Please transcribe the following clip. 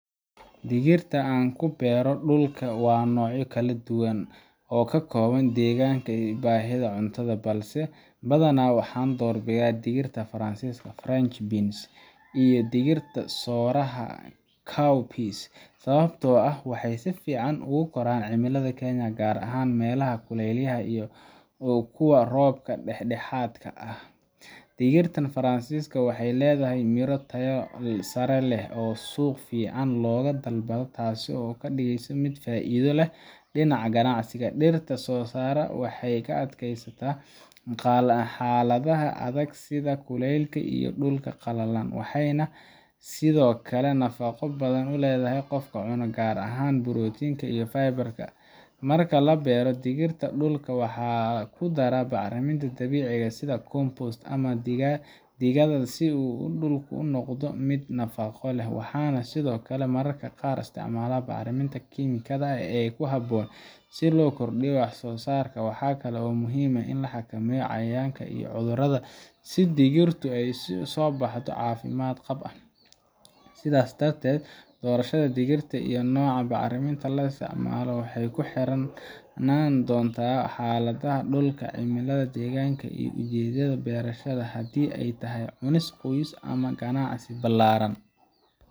Digirta aan ku beero dhulka waa noocyo kala duwan oo ku habboon deegaanka iyo baahida cuntada, balse badanaa waxaan doorbidaa digirta faransiiska French beans iyo digirta sooraha cowpeas sababtoo ah waxay si fiican ugu koraan cimilada Kenya, gaar ahaan meelaha kuleylaha ah iyo kuwa roobka dhexdhexaadka ah leh. Digirta faransiiska waxay leedahay miro tayo sare leh oo suuqa si fiican looga dalbado, taasoo ka dhigaysa mid faa’iido leh dhinaca ganacsiga. Digirta sooraha waxay u adkaysataa xaaladaha adag sida kulaylka iyo dhulka qalalan, waxayna sidoo kale nafaqo badan u leedahay qofka cuna, gaar ahaan borotiin iyo fiber Marka la beero digirta, dhulka waxaan ku daraa bacriminta dabiiciga ah sida compost ama digada si uu dhulku u noqdo mid nafaqo leh, waxaana sidoo kale mararka qaar isticmaalaa bacriminta kiimikada ee ku habboon si loo kordhiyo wax-soo-saarka. Waxa kale oo muhiim ah in la xakameeyo cayayaanka iyo cudurrada si digirtu u soo baxdo si caafimaad qab ah. Sidaa darteed, doorashada digirta iyo nooca bacriminta la isticmaalo waxay ku xirnaan doonaan xaaladda dhulka, cimilada deegaanka, iyo ujeedada beerashada haddii ay tahay cunis qoyska ama ganacsi ballaaran.